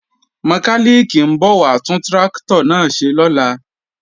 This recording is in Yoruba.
Mọkálìkì ń bọ̀ wá tún tráktọ̀ náà ṣe lọ́la